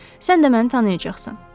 Sən də məni tanıyacaqsan.